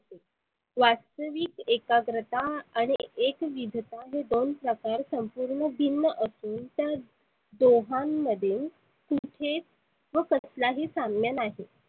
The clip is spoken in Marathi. वास्तवीक एकाग्रता आणि एकविधता हे दोन प्रकार संपुर्ण भिन्न असुन त्या दोघांमध्ये कुठेच व कसला ही साम्य नाही.